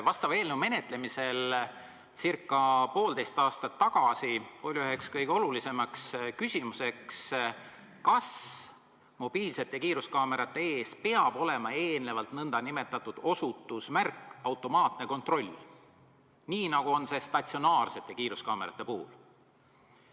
Vastava eelnõu menetlemisel ca poolteist aastat tagasi oli üheks kõige olulisemaks küsimuseks see, kas mobiilsete kiiruskaamerate ees peab olema nn osutusmärk "Automaatne kontroll", nii nagu see on statsionaarsete kiiruskaamerate puhul.